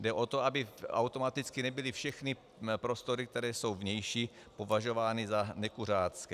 Jde o to, aby automaticky nebyly všechny prostory, které jsou vnější, považovány za nekuřácké.